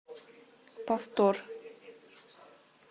повтор